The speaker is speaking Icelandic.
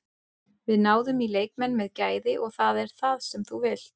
Við náðum í leikmenn með gæði og það er það sem þú vilt.